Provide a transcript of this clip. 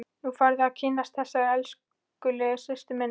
Nú færðu að kynnast þessari elskulegu systur minni!